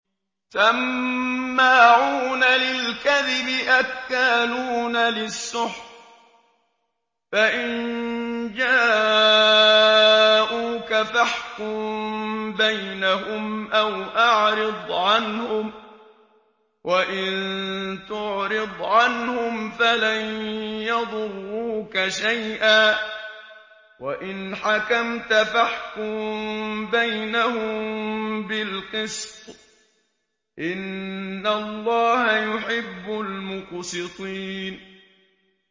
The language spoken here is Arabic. سَمَّاعُونَ لِلْكَذِبِ أَكَّالُونَ لِلسُّحْتِ ۚ فَإِن جَاءُوكَ فَاحْكُم بَيْنَهُمْ أَوْ أَعْرِضْ عَنْهُمْ ۖ وَإِن تُعْرِضْ عَنْهُمْ فَلَن يَضُرُّوكَ شَيْئًا ۖ وَإِنْ حَكَمْتَ فَاحْكُم بَيْنَهُم بِالْقِسْطِ ۚ إِنَّ اللَّهَ يُحِبُّ الْمُقْسِطِينَ